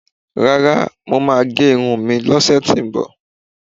Rárá, mo máà ń gé irun mi lọ́sẹ̀tíbọ̀.